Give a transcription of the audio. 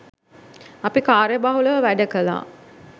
අපි කාර්ය බහුලව වැඩ කළා